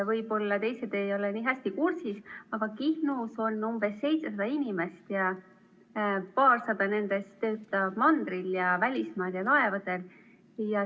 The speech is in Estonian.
Võib-olla teised ei ole nii hästi kursis, aga Kihnus on umbes 700 inimest ja paarsada nendest töötab mandril, välismaal ning laevadel.